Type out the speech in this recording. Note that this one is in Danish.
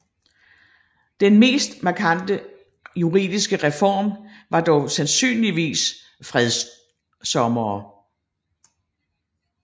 Den mest markante juridiske reform var dog sandsynligvis fredsommere